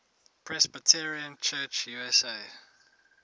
presbyterian church usa